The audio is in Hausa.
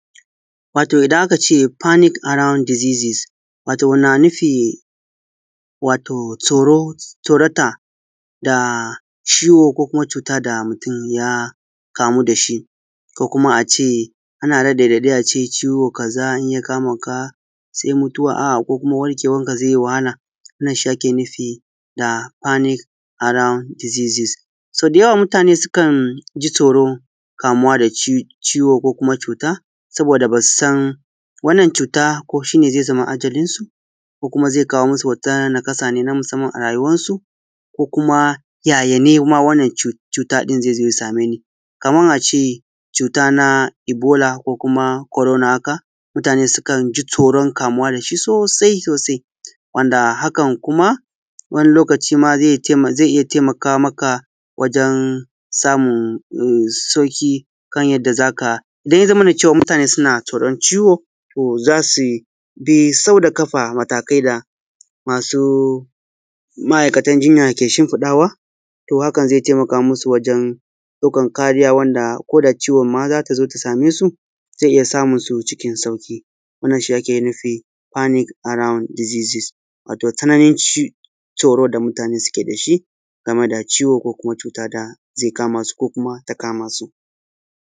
Wato idan aka ce Fanic Arund Disises wato yana nufin tsoro, tsorata da ciwo ko kuma cuta da mutum ya kamu da shi. Ko kuma a ce ana raɗaɗin ciwo. Za a iya kamu da shi, sai mutuwa. A’a! Ko kuma warkewanka zai iya yin wahala. Wannan shi ake nufi da Fanicc Arund Disises. So dayawa, mutane su kan ji tsoro kamuwa da ciwo, ko kuma cuta, saboda ba su san wannan cuta ba. Ko shi ne zai zama ajalinsu ko kuma zai kawo musu wata naƙasa ta musamanci ne a rayuwansu? Ko kuma yayi? Wannan cuta ɗin da zai same ni, kaman a ce cuta na Ebola ko kuma Korona. Haka mutane sukan ji tsoron kamuwa da shi sossai sossai. Wanda hakan kuma wani lokaci kuma zai iya taimaka. Zai iya taimaka maka samu sauƙi kan yadda za ka da, ya zamana mutane suna tsoron ciwo, za su yi sau da ƙafa matakai da masu m’a’ikatan jinya ke shinfiɗawa. To, hakan za taimaka musu wajen ɗauƙan kariya wanda, ko da ciwon ma za ta zo ta same su, za iya samu su cikin sauƙi. Wannan shi ake nufi da Fanic Arundi Disises wato tsananin tsoro da mutane suke da shi game da ciwo ko kuma cuta da zai kama su, ko kuma ta kama su.